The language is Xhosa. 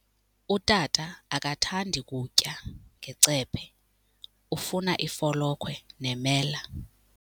Utata akathandi kutya ngecephe, ufuna ifolokhwe nemela.